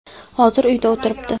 Hozir uyda o‘tiribdi.